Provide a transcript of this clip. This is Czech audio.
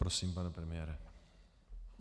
Prosím, pane premiére.